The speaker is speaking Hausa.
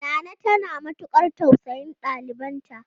Nana tana matukar tausayin ɗalibanta.